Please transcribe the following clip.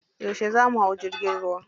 Yauce za mu hau jirgin ruwa?